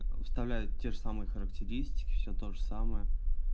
выставляют те же самые характеристики всё тоже самое